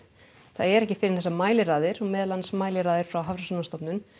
það er ekki fyrr en þessar mæliraðir og meðal annars frá Hafrannsóknastofnun